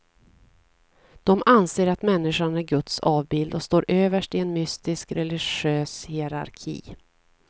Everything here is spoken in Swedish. De anser att människan är guds avbild och står överst i en mystisk religiös hierarki.